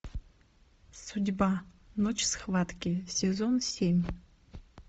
судьба ночь схватки сезон семь